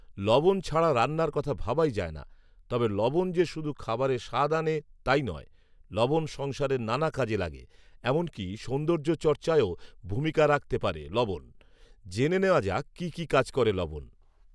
লবণ ছাড়া রান্নার কথা ভাবাই যায় না৷ তবে লবণ যে শুধু খাবারে স্বাদ আনে তাই নয়৷ লবণ সংসারের নানা কাজে লাগে৷ এমনকি সৌন্দর্যচর্চায়ও ভূমিকা রাখতে পারে লবণ৷ জেনে নেয়া যাক কী কী কাজ করে লবণ